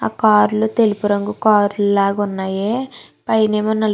ఆ కార్ లీ తెలుపు రంగు కార్ లు లాగా ఉన్నాయి. పైనేమో నలుపు --